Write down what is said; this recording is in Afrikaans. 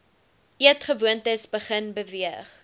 eetgewoontes begin beweeg